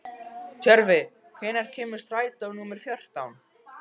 Tjörvi, hvenær kemur strætó númer fjórtán?